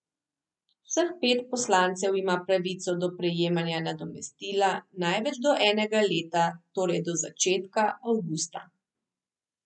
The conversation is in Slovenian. Vseh pet poslancev ima pravico do prejemanja nadomestila največ do enega leta, torej do začetka avgusta.